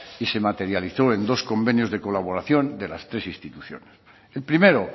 y se materializó en dos convenios de colaboración de las tres instituciones el primero